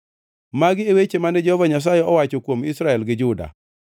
Magi e weche mane Jehova Nyasaye owacho kuom Israel gi Juda: